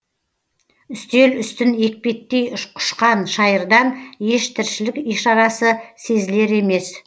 үстел үстін екпеттей құшқан шайырдан еш тіршілік ишарасы сезілер емес